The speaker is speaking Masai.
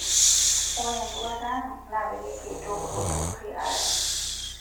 Ore enduata ang' naa peyie kiretoo kulo tururi aare.